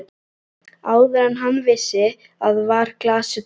Áður en hann vissi af var glasið tómt.